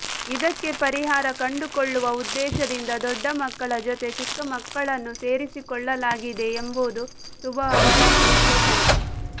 ಇದಕ್ಕೆ ಪರಿಹಾರ ಕಂಡುಕೊಳ್ಳುವ ಉದ್ದೇಶದಿಂದ ದೊಡ್ಡ ಮಕ್ಕಳ ಜೊತೆ ಚಿಕ್ಕಮಕ್ಕಳನ್ನೂ ಸೇರಿಸಿಕೊಳ್ಳಲಾಗಿದೆ ಎಂಬುದು ಶುಭಾ ಅವರ ವಿಶ್ಲೇಷಣೆ